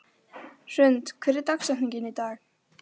Hrund, hver er dagsetningin í dag?